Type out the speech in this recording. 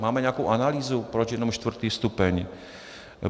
Máme nějakou analýzu, proč jenom čtvrtý stupeň?